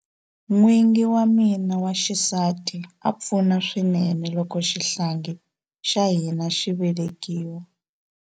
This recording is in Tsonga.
N'wingi wa mina wa xisati a pfuna swinene loko xihlangi xa hina xi velekiwa.